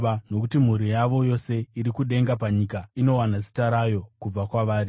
nokuti mhuri yavo yose iri kudenga napanyika inowana zita rayo kubva kwavari.